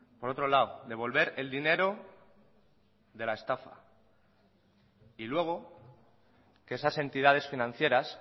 por otro lado devolver el dinero de la estafa y luego que esas entidades financieras